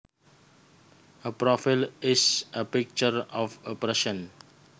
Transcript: A profile is a picture of a person